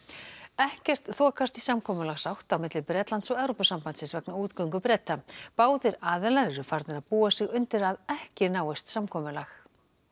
ekkert þokast í samkomulagsátt á milli Bretlands og Evrópusambandsins vegna útgöngu Breta báðir aðilar eru farnir að búa sig undir að ekki náist samkomulag